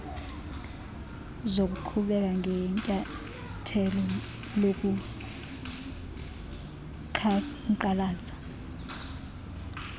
zokuqhubeka ngenyathelo lokuqhankqalaza